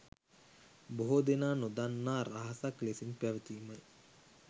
බොහෝ දෙනා නොදන්නා රහසක් ලෙසින් පැවතීමයි.